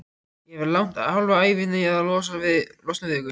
Ég hef lagt hálfa ævina í að losna við ykkur.